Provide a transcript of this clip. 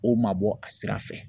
O mabɔ a sira fɛ.